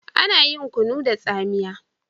Ana yin kunun da tsamiya.